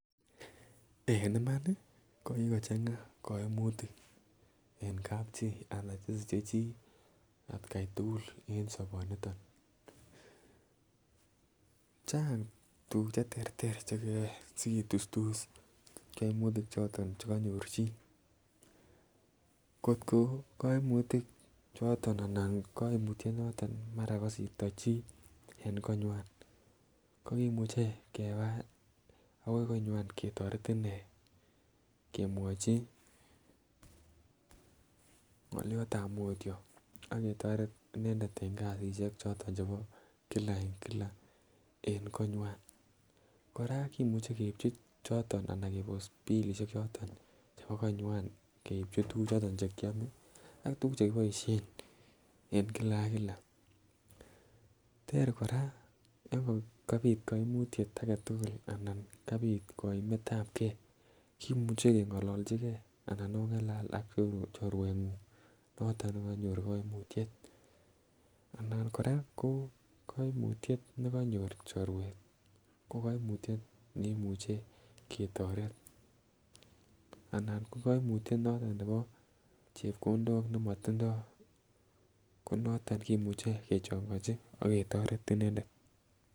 En imani ko kikochamga koimutik en kapchii anan che siche chii atgai tukul en soboniton. Chang tukuk cheterter chekeyoe sikitustus koimutik choton chekonyor chii, kotko koimutik choton anan koimutyet noton be mara kosirto chii en konywan ko kimuche keba akoi konywan ketoret inee komwochi ngoliotab mutyo ak ketoret inendet en kasishek choton chebo Kila en kila en konywan. Koraa kimuche keibchi choton anan kebos bilishek choton chebo konywan keibchi tukuk choton chekiome ak tukuk chekiboishen en kila ak kila. Ter Koraa yon kabit koimutyet aketukul anan kabit koimetab gee kimuche kengololjigee anan ongalal ak chorwenguny noton nekonyor koimutyet anan Koraa koo koimutyet nekonyor chorwet ko koimutyet nekimuche ketoret anan ko koimutyet noton nebo chepkondok nemotindo konoton kimuche kechonkochi ak ketoret inendet.